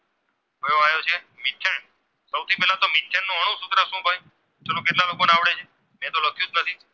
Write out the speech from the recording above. ચાલો કેટલા લોકોને આવડે છે મેં તો લખ્યું જ નથી